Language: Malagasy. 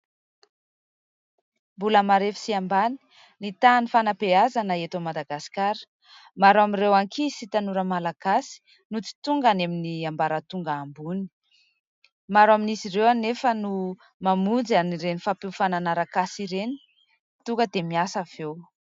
Mbola marefo sy ambany ny tahan'ny fanabeazana eto Madagasikara. Maro amin'ireo ankizy sy tanora malagasy no tsy tonga any amin'ny ambaratonga ambony. Maro amin'izy ireo anefa no mamonjy an'ireny fampiofanana arak'asa ireny, tonga dia miasa avy eo.